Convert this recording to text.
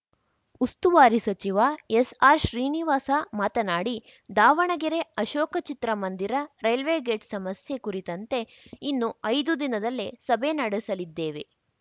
ಉಸ್ತುವಾರಿ ಸಚಿವ ಎಸ್‌ಆರ್‌ಶ್ರೀನಿವಾಸ ಮಾತನಾಡಿ ದಾವಣಗೆರೆ ಅಶೋಕ ಚಿತ್ರ ಮಂದಿರ ರೈಲ್ವೇ ಗೇಟ್‌ ಸಮಸ್ಯೆ ಕುರಿತಂತೆ ಇನ್ನು ಐದು ದಿನದಲ್ಲೇ ಸಭೆ ನಡೆಸಲಿದ್ದೇವೆ